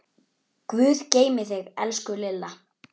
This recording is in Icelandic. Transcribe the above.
Guð geymi þig, elsku Lilla.